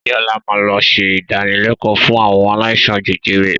Bọlá máa lọ ṣe ìdánilẹ̀kọ̀ fún àwọn aláìsàn jẹjẹrẹ